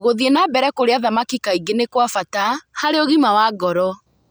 Gũthiĩ na mbere kũrĩa thamaki kaingĩ nĩ kwa bata harĩ ũgima wa ngoro.